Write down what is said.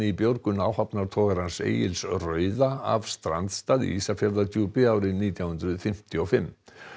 björgun áhafnar togarans Egils rauða af strandstað í Ísafjarðardjúpi árið nítján hundruð fimmtíu og fimm